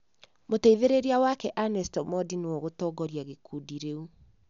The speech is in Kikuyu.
Mũteithĩrĩria wake Ernest Omondi nĩwe ũgũtongoria gĩkundi rĩu.